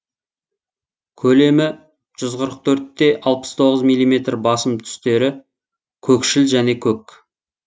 көлемі жүз қырық төрт те алпыс тоғыз миллиметр басым түстері көкшіл және көк